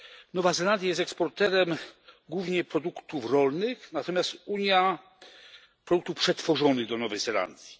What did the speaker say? Nowa Zelandia jest eksporterem głównie produktów rolnych, natomiast Unia produktów przetworzonych do Nowej Zelandii.